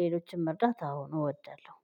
ሌሎችን መርዳት አዎን እወዳለሁ።